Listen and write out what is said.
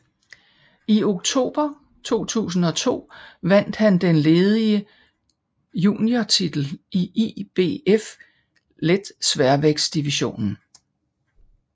I oktober 2002 vandt han den ledige juniortitl i IBF letsværvægtdivision